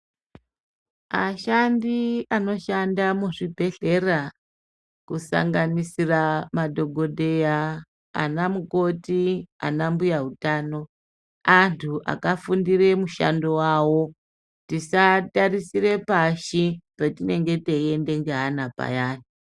Ashandi anoshanda muzvibhedhlera, kusanganisira madhogodheya, anamukoti ,anambuya utano, antu akafundire mushando wavo. Tisaatarisire pashi petinenge teienda ngeana payani.